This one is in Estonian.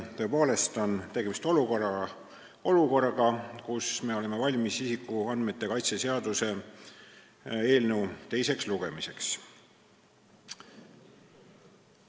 Tõepoolest on tegemist olukorraga, kus me oleme valmis isikuandmete kaitse seaduse eelnõu teiseks lugemiseks.